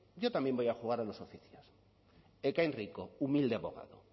yo también voy a jugar a los oficios ekain rico humilde abogado